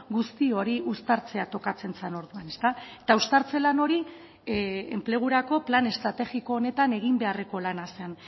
guzti hori uztartzea tokatzen zen orduan eta uztartze lan hori enplegurako plan estrategiko honetan egin beharreko lana zen